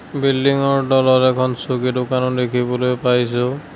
Building ৰ তলত এখন চকী দোকানো দেখিবলৈ পাইছোঁ।